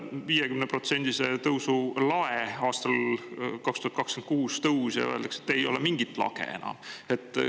Nii et äkki hoopis tuleb aastal 2026 selle 50%‑lise tõusu lae tõus või öeldakse, et ei ole mingit lage enam.